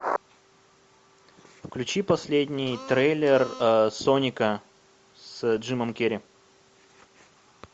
включи последний трейлер соника с джимом керри